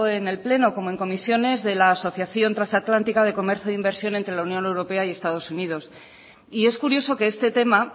en el pleno como en comisiones de la asociación transatlántica de comercio e inversión entre la unión europea y estados unidos y es curioso que este tema